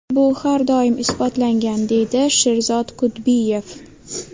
Bu har doim isbotlangan”, deydi Sherzod Kudbiyev.